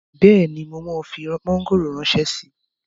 Bẹ́ẹ̀ni, mo máa fi mọ́ngòrò ránṣẹ́ síi